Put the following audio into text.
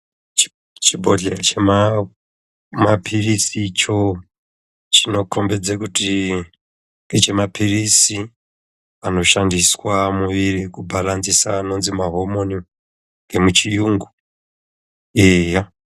Chibhodyeya chemapirizi icho chinokombedze kuti ndechemapirizi anoshandiswa mumuiri kubalanzisa anonzi mahomoni nemuchiungu eyaa.